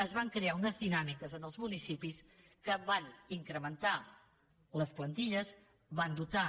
es van crear unes dinàmiques als municipis que van incrementar les plantilles que van dotar